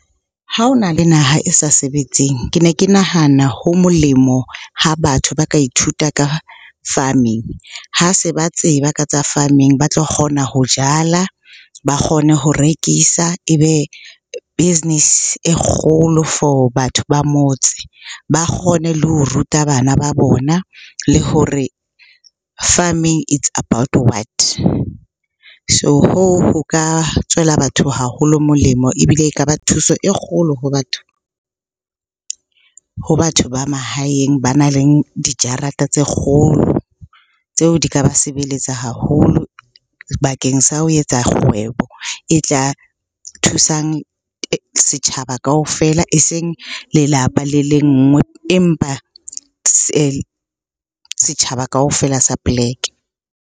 Ha ho na le naha e sa sebetseng, ke ne ke nahana ho molemo ha batho ba ka ithuta ka farming. Ha se ba tseba ka tsa farming ba tlo kgona ho jala, ba kgone ho rekisa, ebe business e kgolo for batho ba motse. Ba kgone le ho ruta bana ba bona, le hore farming it's about what? So hoo, ho ka tswela batho haholo molemo ebile e ka ba thuso e kgolo ho batho ba mahaeng banang le dijarata tse kgolo tseo di ka ba sebeletsa haholo bakeng sa ho etsa kgwebo e tla thusang setjhaba kaofela eseng lelapa le le nngwe. Empa setjhaba kaofela sa poleke.